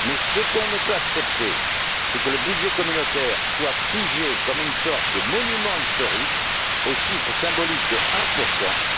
Mais ce qu'on ne peut accepter, c'est que le budget communautaire soit figé, comme une sorte de monument historique, au chiffre symbolique de 1